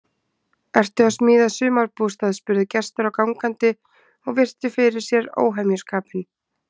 Ertu að smíða sumarbústað? spurðu gestir og gangandi og virtu fyrir sér óhemjuskapinn.